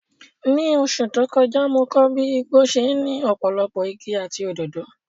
Ní oṣù tó kọjá, mo kọ́ bí igbó ṣe ní ọ̀pọ̀lọpọ̀ igi àti òdòdó.